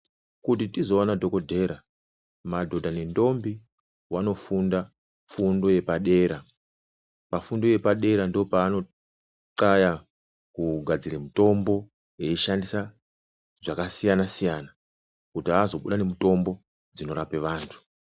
Kutizoone dhokodhera madhodha nendombi vanofunda fundo yepadera. Pafundo yepadera ndopavano xlaya kugadzira mutombo eishandisa zvakasiyana siyana kuti azobuda nemitombo dzinorapa antu.